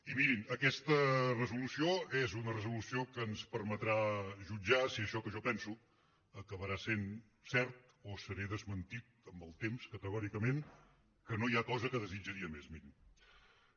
i mirin aquesta resolució és una resolució que ens permetrà jutjar si això que jo penso acabarà sent cert o seré desmentit amb el temps categòricament que no hi ha cosa que desitjaria més mirin